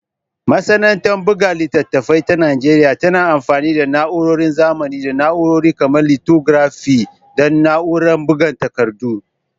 Masana'antar buga littattafai ta Najeriya tana amfani da na'urorin zamani da na'urori kamar lithographic da na'urar buga takardu.